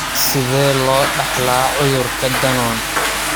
Sidee loo dhaxlaa cudurka Danon?